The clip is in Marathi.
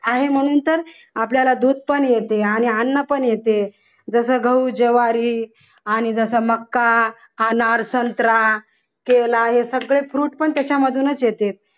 आहे म्हणून तर आपल्याला दूध पण येते अन्न पण येते जस गहू ज्वारी आणि जसा मक्का आणि संत्रा यावे संत्रा केला हे सगळे fruit पण त्याच्या मधूनच येते.